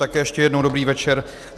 Také ještě jednou dobrý večer.